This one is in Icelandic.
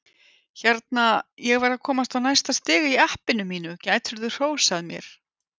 Hérna, ég var að komast á næsta stig í appinu mínu, gætirðu hrósað mér?